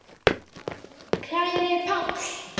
Kæri Páll.